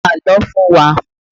Pa àlọ́ fún wa!